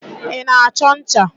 Ị na-achọ ncha?